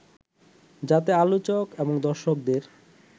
যাতে আলোচক এবং দর্শকদের